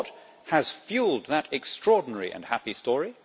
And what has fuelled that extraordinary and happy story?